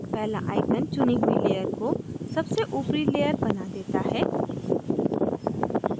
पहला icon चुनी हुई layer को सबसे ऊपरी layer बना देता है